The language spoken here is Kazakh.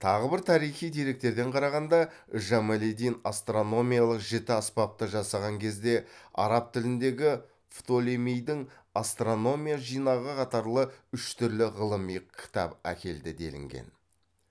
тағы бір тарихи деректерден қарағанда жамалиддин астрономиялық жіті аспапты жасаған кезде араб тіліндегі фтолемейдің астрономия жинағы қатарлы үш түрлі ғылыми кітап әкелді делінген